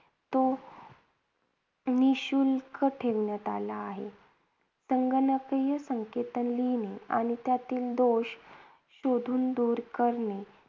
तो निशुल्क ठेवण्यात आला आहे. संगणकीय संकेतन लिहिणे आणि त्यातील दोष शोधून दूर करणे